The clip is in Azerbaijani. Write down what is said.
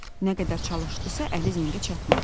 Nə qədər çalışdısa, əli zəngə çatmadı.